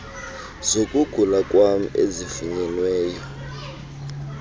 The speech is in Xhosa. zokugula kwam ezifunyenwe